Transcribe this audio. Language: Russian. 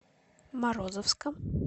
морозовска